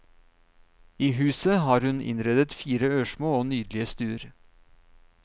I huset har hun innredet fire ørsmå og nydelige stuer.